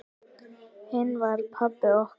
Hinn var pabbi okkar.